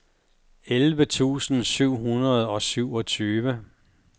elleve tusind syv hundrede og syvogtyve